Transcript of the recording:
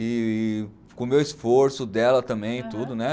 E com o meu esforço dela também e tudo, né?